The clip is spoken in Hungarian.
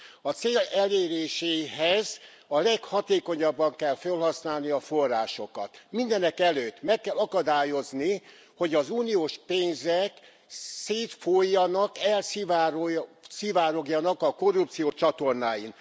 A cél eléréséhez a leghatékonyabban kell fölhasználni a forrásokat, mindenekelőtt meg kell akadályozni, hogy az uniós pénzek szétfolyjanak, elszivárogjanak a korrupció csatornáin.